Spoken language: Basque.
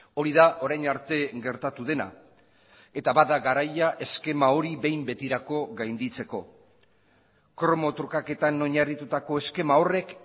hori da orain arte gertatu dena eta bada garaia eskema hori behin betirako gainditzeko kromo trukaketan oinarritutako eskema horrek